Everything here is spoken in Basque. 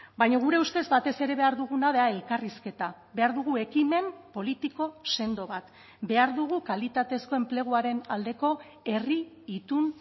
baina gure ustez batez ere behar duguna da elkarrizketa behar dugu ekimen politiko sendo bat behar dugu kalitatezko enpleguaren aldeko herri itun